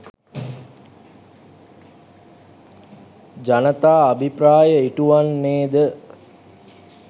ජනතා අභිප්‍රාය ඉටු වන්නේ ද